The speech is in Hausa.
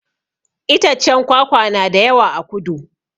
Itaccen kwakwa na da yawa a kudu